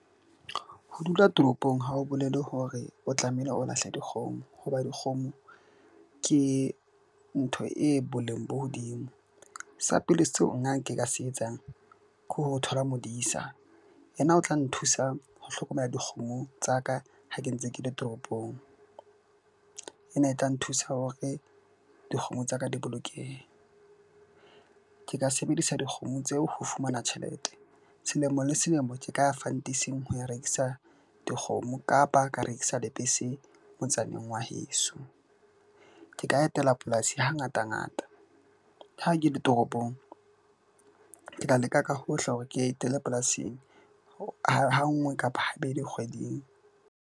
Ho dula toropong ha o bolele hore o tlamehile o lahle dikgomo hoba dikgomo ke ntho e boleng bo hodimo. Sa pele seo nna nka se etsang ke ho thola modisa, yena o tla nthusa ho hlokomela dikgomo tsa ka ha ke ntse ke le toropong, ena e tla nthusa hore dikgomo tsa ka di bolokehe. Ke ka sebedisa dikgomo tseo ho fumana tjhelete. Selemo le selemo Ke ka ya fantising ho ya rekisa dikgomo kapa ka rekisa lebese motsaneng wa heso. Ke ka etela polasi ha ngata ngata ha ke le toropong, ke tla leka ka hohle hore ke etele polasing ha nngwe kapa habedi kgweding.